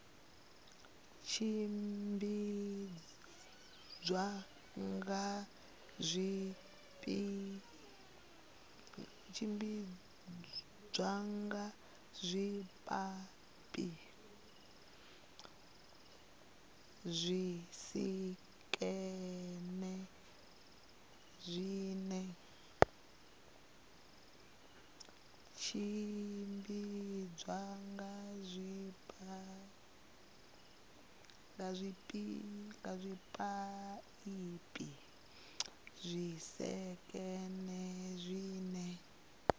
tshimbidzwa nga zwipaipi zwisekene zwine